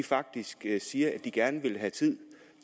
faktisk siger at de gerne ville have tid